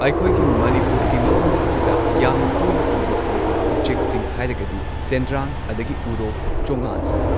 ꯑꯩꯈꯣꯏꯒꯤ ꯃꯅꯤꯄꯨꯔꯒꯤ ꯃꯐꯝ ꯑꯁꯤꯗ ꯌꯥꯝꯅ ꯇꯣꯏꯅ ꯎꯕ ꯐꯪꯕ ꯎꯆꯦꯛꯁꯤꯡ ꯍꯥꯏꯔꯒꯗꯤ ꯁꯦꯟꯗ꯭ꯔꯥꯡ ꯑꯗꯒꯤ ꯎꯔꯣꯛ ꯆꯣꯉꯥ ꯑꯁꯤꯅꯤ꯫